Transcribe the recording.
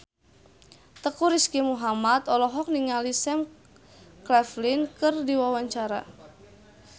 Teuku Rizky Muhammad olohok ningali Sam Claflin keur diwawancara